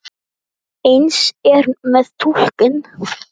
Eins er með túlkun.